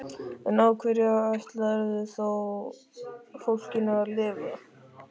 En á hverju ætlarðu þá fólkinu að lifa?